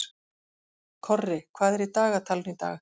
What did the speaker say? Korri, hvað er í dagatalinu í dag?